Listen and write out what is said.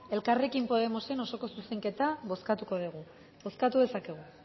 elkarrekin podemosen osoko zuzenketa bozkatuko dugu bozkatu dezakegu